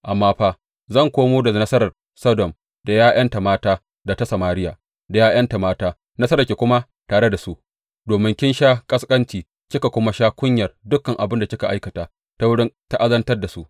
Amma fa, zan komo da nasarar Sodom da ’ya’yanta mata da ta Samariya da ’ya’yanta mata, nasararki kuma tare da su, domin ki sha ƙasƙancinki ki kuma sha kunyar dukan abin da kika aikata ta wurin ta’azantar da su.